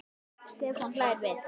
Stefán hlær við.